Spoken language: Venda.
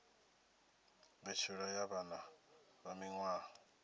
mbetshelwa ya vhana vha miwaha